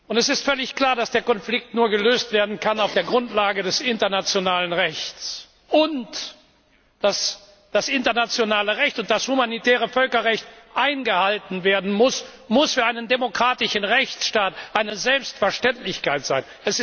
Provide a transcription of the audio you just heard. Es ist völlig klar, dass der Konflikt nur auf der Grundlage des internationalen Rechts gelöst werden kann, und dass das internationale Recht und humanitäre Völkerrecht eingehalten werden muss, muss für einen demokratischen Rechtsstaat eine Selbstverständlichkeit sein.